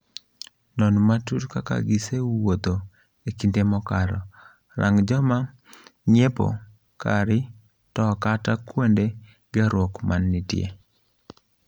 Non matut kaka gisee wuotho ekinde mokalo, rang joma ng'iepo kari to kata kuonde gerruok mantie.